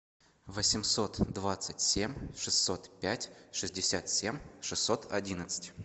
восемьсот двадцать семь шестьсот пять шестьдесят семь шестьсот одиннадцать